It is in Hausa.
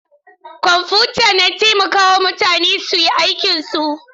Kwamfuta na taimaka wa mutane su yi aikinsu.